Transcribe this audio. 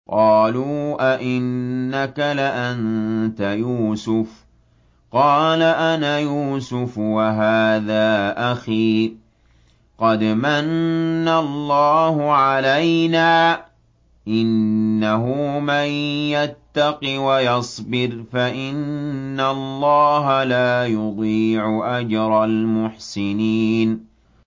قَالُوا أَإِنَّكَ لَأَنتَ يُوسُفُ ۖ قَالَ أَنَا يُوسُفُ وَهَٰذَا أَخِي ۖ قَدْ مَنَّ اللَّهُ عَلَيْنَا ۖ إِنَّهُ مَن يَتَّقِ وَيَصْبِرْ فَإِنَّ اللَّهَ لَا يُضِيعُ أَجْرَ الْمُحْسِنِينَ